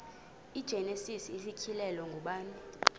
igenesis isityhilelo ngubani